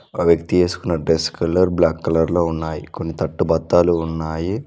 ఒక వ్యక్తి ఏసుకున్న డ్రెస్ కలర్ బ్లాక్ కలర్ లో ఉన్నాయి కొన్ని తట్టు బత్తాలు ఉన్నాయి.